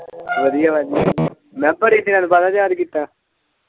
ਵਧੀਆ-ਵਧੀਆ ਮੈਂ ਕਿਹਾ ਬੜੇ ਦਿਨਾਂ ਤੋਂ ਬਾਅਦ ਯਾਦ ਕੀਤਾ।